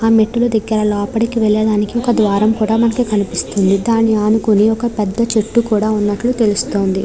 ఆ మెట్టుల దగ్గర లోపటికి వెళ్లడానికి ఒక ద్వారం కూడా మనకు కనిపిస్తుంది. దాన్ని అనుకొని ఒక పెద్ద చెట్టు కూడా ఉన్నట్లు తెలుస్తుంది.